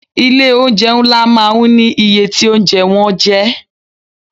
Ilé oúnjẹ ńlá máa ń ní iye tí oúnjẹ wọn jẹ́.